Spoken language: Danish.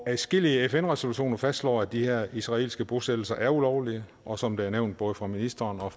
adskillige fn resolutioner fastslår at de her israelske bosættelser er ulovlige og som det er nævnt både af ministeren og